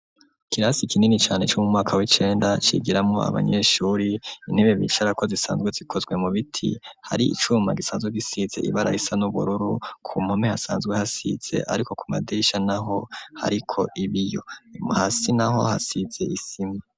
Kirasi ikinini cane c'umu mwaka w'icenda cigiramo abanyeshuri intebe bicarako zisanzwe zikozwe mu biti hari icuma gisanze gisize ibarar isa n'ubururu ku mpome hasanzwe hasize, ariko ku madiisha, naho hariko ibiyo hasi na ho hasize isima.